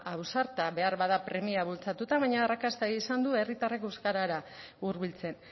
ausarta behar bada premiak bultzatuta baina arrakasta izan du herritarrak euskarara hurbiltzen